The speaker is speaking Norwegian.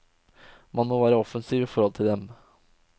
Man må være offensiv i forhold til dem.